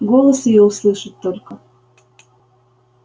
голос её услышать только